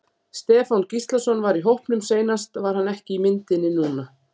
Stefán Gíslason var í hópnum seinast var hann ekki í myndinni núna?